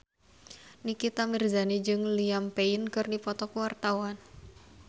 Nikita Mirzani jeung Liam Payne keur dipoto ku wartawan